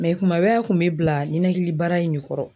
kuma bɛɛ a kun me bila ninakili baara in ne kɔrɔ